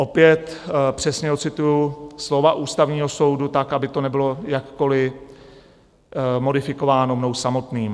Opět přesně odcituji slova Ústavního soudu tak, aby to nebylo jakkoli modifikováno mnou samotným.